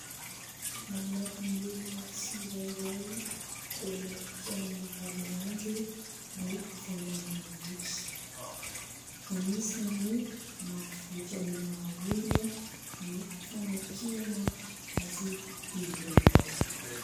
Manampy ny olona tsirairay eo amin'ny fiainana andavanandro ny fananana boky. Anisany mampivoatra ny maha olona ny famakiana azy ireny.